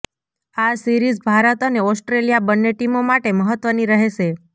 આ સિરીઝ ભારત અને ઓસ્ટ્રેલિયા બન્ને ટીમો માટે મહત્વની રહેશે